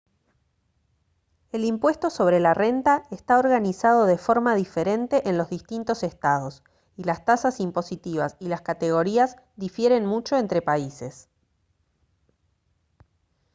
el impuesto sobre la renta está organizado de forma diferente en los distintos estados y las tasas impositivas y las categorías difieren mucho entre países